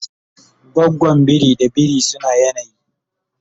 gwagwan biri da biri suna yanayi